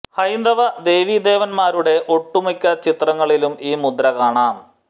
ഹൈന്ദവ ദേവീ ദേവൻമാരുടെ ഒട്ടുമിക്ക ചിത്രങ്ങളിലും ഈ മുദ്ര കാണാം